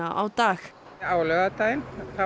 á dag á laugardaginn